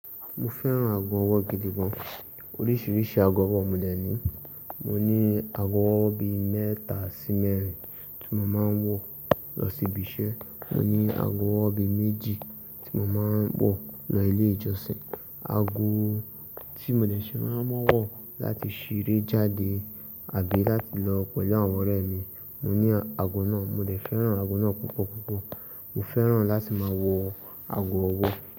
Mo fẹ́ràn ago ọwọ́ gidi gan. Oríṣiríṣi ago ọwọ́ mo dẹ̀ ní. Mo ní ago ọwọ́ bí mẹ́ta so mẹ́rin tí mo máa ń wọ̀ lọ sí ibi iṣẹ́. Mo ní ago ọwọ́ bi méjì tí mo máa ń wọ̀ lọ ilé ìjọsìn. Ago tí mo dẹ̀ ṣe máa ń, mọ́wọ́ láti ṣeré jáde àbí láti lọ pẹ̀lú àwọn ọ̀rẹ́ mi, mo ní ago náà. Mo lè fẹ́ràn ago náà púpọ̀ púpọ̀. Mo fẹ́ràn láti máa wọ̀ ago ọwọ́.